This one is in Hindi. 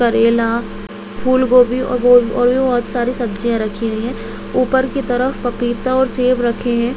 करेला फूलगोबी बहुत सारी सब्जियां रखी हुई है ऊपर की तरफ पपीता और सेब रखे है।